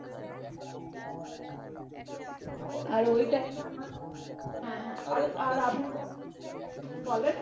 বলেন